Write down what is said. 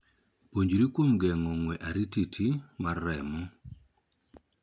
Puonjri kuom geng'o ng'we airititi mar remo.